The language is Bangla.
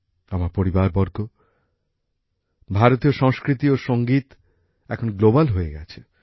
আমার পরিবারবর্গ ভারতীয় সংস্কৃতি ও সংগীত এখন আন্তর্জাতিক পরিচিতি লাভ করেছে